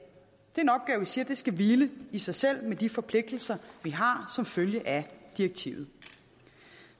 er en siger skal hvile i sig selv men med de forpligtelser vi har som følge af direktivet